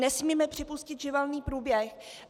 Nesmíme připustit živelný průběh.